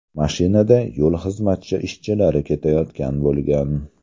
Mashinada yo‘l xizmati ishchilari ketayotgan bo‘lgan.